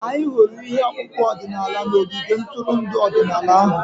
Anyị hụrụ ihe ọkpụkpụ ọdịnala n'ogige ntụrụndụ ọdịnala ahụ.